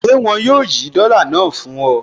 Ṣé wọn yóò yí dọ́là náà fún ọ?